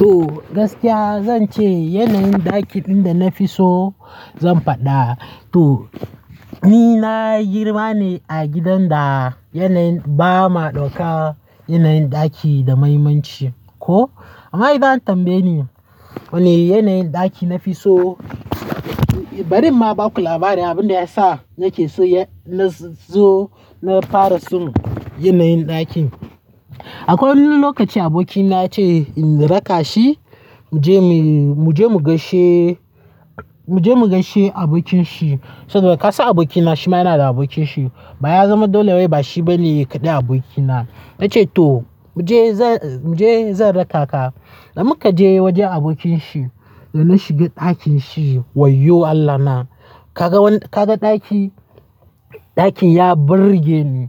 To gaskiya zan ce yanayin ɗaki ɗin da nafi so zan faɗa. To ni na girma ne a gidan da yanayin, ba ma ɗauka yanayin ɗaki da muhimmanci. Ko, amma idan an tambaye ni wane yanayin ɗaki nafi so. Barin ma baka labari abin da yasa nake so ya-- na zo na fara so yanayin ɗakin. Akwai wani lokaci abokina ya ce in raka shi, mu je mu, mu je mu gaishe, mu je mu gaishe abokin shi. Saboda ka san abokina shi ma yana da abokin shi. Ba ya zama dole wai, ba shi bane kaɗai abokina. Ya ce to mu je, mu je zan raka ka. Da muka je wajen abonkin shi, da muka shiga ɗakin shi, wayyoo Allah na! kaga ɗakin? Ɗakin ya burge ni,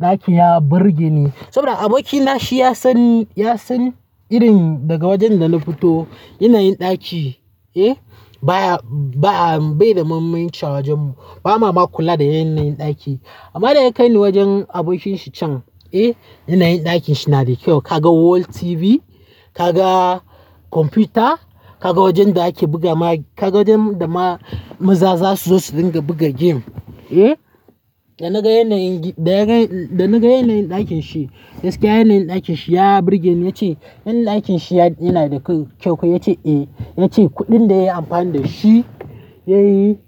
ɗakin ya burge ni. Saboda abokina shi ya san, ya san irin, daga wajen da na fito yanayin ɗaki, eh, baya, ba, bai da muhimmanci a wajen mu. Ba ma ma kula da yanayin ɗaki. Amma da ya kai ni wajen abokin shi can, eh, yanayin ɗakin shi na da kyau. Ka ga wall TV, ka ga kwamfuta, ka ga wajen da ake buga ma-- ka ga wajen da ma maza za su zo su dinga buga game, eh. Da na ga yanayin, da na ga yanayin ɗakin shi, gaskiya yanayin ɗakin shi ya burge ni. Ya ce yanayin ɗakin shi yana da kyau. Ya ce eh, ya ce kuɗin da yayi amfani da shi ya yi,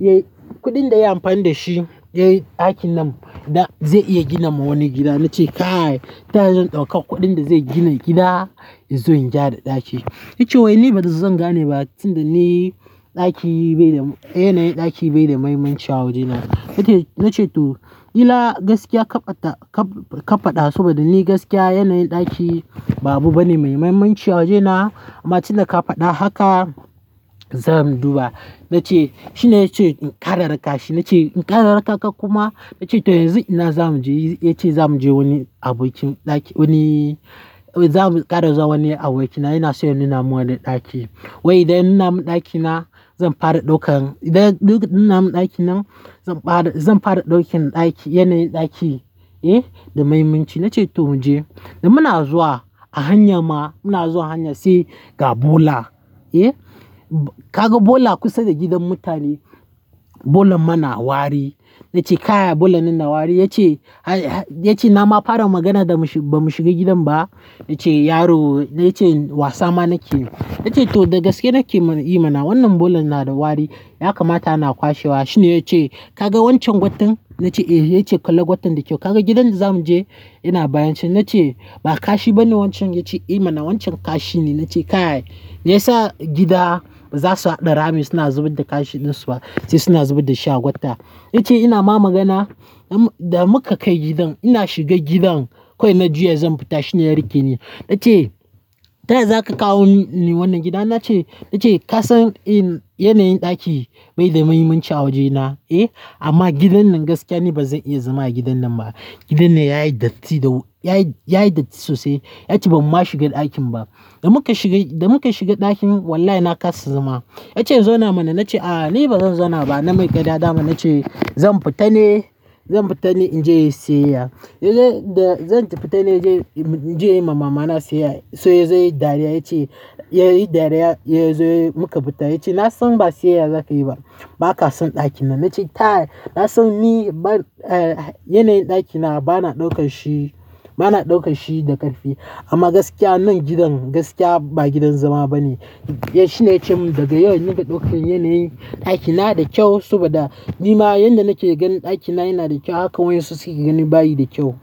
ya yi, kuɗin da yayi amfani da shi ya yi ɗakin nan da zai iya gina ma wani gida. Na ce kai! Ta ya zan ɗauka kuɗin da zai gina gida in zo in gyara ɗaki. Ya ce wai ni bari zan gane ba tunda ni ɗaki bai da, yanayin ɗaki bai da muhimmanci a wuri na. Ya ce, na ce to ƙila gaskiya ka ta, ka faɗa saboda ni gaskiya yanayin ɗaki ba abu bane mai muhimmanci a waje na. Amma tunda ka faɗa haka, zan duba. Na ce, shine ya ce in ƙara raka shi. Na ce in ƙara raka ka kuma? Ya ce to yanzu ina zamu je. Ya ce zamu je wani abokin ɗaki, wani, zamu ƙara zuwa wani abokina yana so ya nuna mun wani ɗaki. Wai idan ya nuna mu ɗaki na, zan fara ɗaukan, idan ya nuna mun ɗakin nan, zan fara, zan fara ɗaukan ɗaki, yanayin ɗaki, eh, da muhimmanci. Na ce to mu je. Da muna zuwa, a hanya ma muna zuwa hanya sai ga bola, eh. Ka ga bola kusa da gidan mutane, bolan mana wari. Na ce kai! Bolan nan na wari. Ya ce, ya ce na ma fara magana da bamu shiga gidan ba. Ya ce yaro, ya ce wasa ma nake yi. Na ce to da gaske nake yi mana wannan bolan yana da wari, ya kamata ana kwashewa. Shi ne ya ce ka ga wancan gwatan. Na ce eh. Ya ce kalla gwatan da kyau. Ka ga gidan da zamu je yana bayan shi. Na ce ba kashi bane wancan. Ya ce eh mana, wancan kashi ne. Na ce kai! Me yasa gida za su haɗa rami suna zubar da kashi ɗin su ba, sai suna zubar da shi a gwata. Ya ce ina ma magana. Da muka kai gidan ina shiga gidan, kawai na juya zan fita. Shi ne ya riƙe ni. Na ce ta yaya zaka kawo ni wannan gidan? Na ce, ya ce ka san in yanayin ɗaki bai da muhimmanci a waje na, eh, amma gidan nan gaskiya ni ba zan iya zama a gidan nan ba. Gidan nan yayi datti da yayi, yayi datti sosai. Ya ce bamu ma shiga ɗakin ba. Da muka shiga, da muka shiga ɗakin wallahi na kasa zama. Ya ce in zauna mana. Na ce a'a ni ba zan zauna ba. Na mai ƙarya dama. Na ce zan fita ne, zan fita ne in je in sayayya. Da zan fita ne in je, in je in yi ma mama na siyayya. Sai ya yi dariya ya ce, ya yi dariya. Ya zo, muka fita. Ya ce na san ba siyayya zaka yi ba. Baka son ɗakin nan, na ce ta yaya, kasan ni, yanayin ɗaki na bana ɗaukan shi, bana ɗaukan shi da ƙarfi amma gaskiya nan gidan gaskiya ba gidan zama bane. Ya, shine ya ce mun daga yau in dinga ɗaukan yanayin ɗaki na da kyau saboda ni ma yanda nake ganin ɗaki na yana da kyau haka waƴansu suke ganin bayi da kyau.